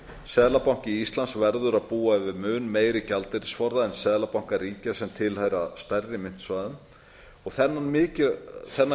seðlabanki íslands verður að búa yfir mun meiri gjaldeyrisforða en seðlabankar ríkja sem tilheyra stærri myntsvæðum þennan gjaldeyrisforða